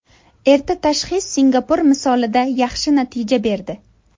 Erta tashxis Singapur misolida yaxshi natija berdi.